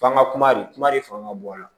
F'an ga kuma de kuma de fɔ ŋa bɔn a la